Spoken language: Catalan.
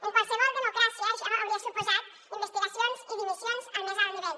en qualsevol democràcia això hauria suposat investigacions i dimissions al més alt nivell